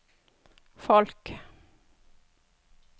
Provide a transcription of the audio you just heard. folk